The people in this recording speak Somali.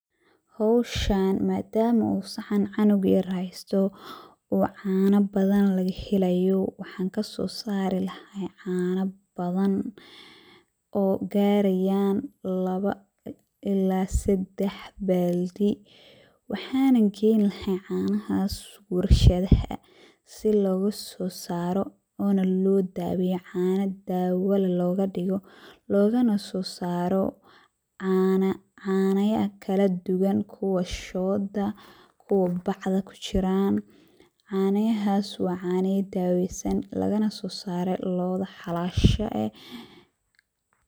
Hawshaan madama uu sacaan cunug yar heysto, uu caana badan laga helayo ,waxaan kasoo saari lahaa caana badan oo garayaan lawa ilaa seddex baaldi. Waxana geyn lahaay canahaas warshadaha si looga soo saaro oona loo daweeypo caana dawa leh looga dhigo, loogana soo saaro caana, caanaya kala duwan ,kuwa shooda, kuwa bacda ku jiraan ,caanayahaas waa caanaya daaweysan lagana soo saare looda xalaasha eh.